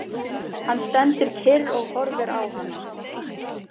Hann stendur kyrr og horfir á hana.